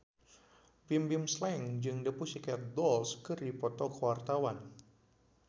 Bimbim Slank jeung The Pussycat Dolls keur dipoto ku wartawan